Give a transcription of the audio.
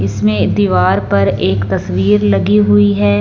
इसमें दीवार पर एक तस्वीर लगी हुई है।